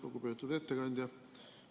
Lugupeetud ettekandja!